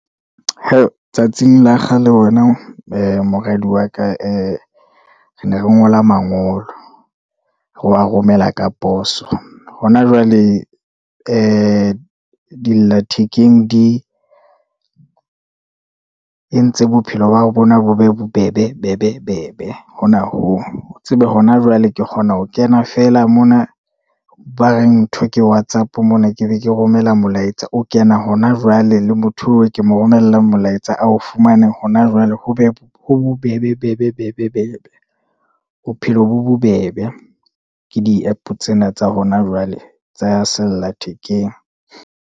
He tsatsing la kgale, wena ee moradi wa ka, ee re ne re ngola mangolo, re wa romela ka poso, hona jwale e di lla thekeng di e ntse bophelo ba bona bo be bobebe, bebe, bebe hona hoo, tsebe hona jwale ke kgona ho kena fela mona, ba reng ntho ke whatsapp mona, ke be ke romela molaetsa, o kena hona jwale le motho oo ke mo romella molaetsa ao ufmana hona jwale, ho be bobebe bebe, bebe, bebe. Bophelo bo bobebe ke di-app tsena tsa hona jwale tsa sellathekeng.